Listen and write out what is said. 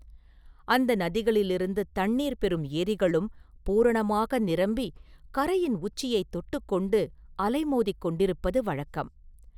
அந்த நதிகளிலிருந்து தண்ணீர் பெறும் ஏரிகளும் பூரணமாக நிரம்பிக் கரையின் உச்சியைத் தொட்டுக் கொண்டு அலைமோதிக் கொண்டிருப்பது வழக்கம்.